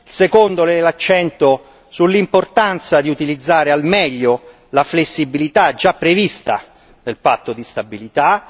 il secondo, mette l'accento sull'importanza di utilizzare al meglio la flessibilità già prevista del Patto di stabilità